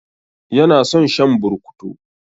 Ya na son shan burkutu.